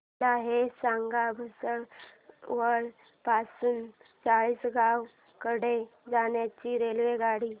मला हे सांगा भुसावळ पासून चाळीसगाव कडे जाणार्या रेल्वेगाडी